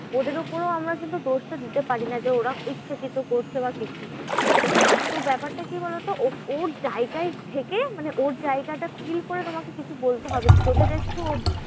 ওদের উপরেও আমরা কিন্তু দোষটা দিতে পারি না যে ওরা ইচ্ছাকৃত করছে বা কিছু। তো ব্যাপারটা কি বলোতো? ওর জায়গায় থেকে মানে ওর জায়গাটা feel করে তোমাকে কিছু বলতে হবে। যদি দেখছো ও